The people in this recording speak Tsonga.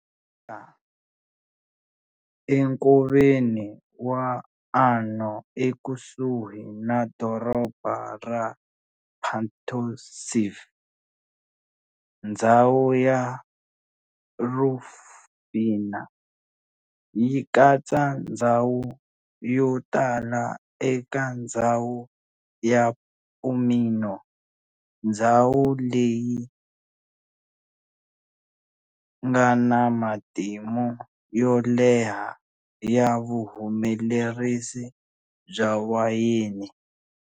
Kumeka enkoveni wa Arno ekusuhi na doroba ra Pontassieve, ndzhawu ya Rufina yi katsa ndzhawu yotala eka ndzhawu ya Pomino, ndzhawu leyingana matimu yo leha ya vuhumelerisi bya wayeni.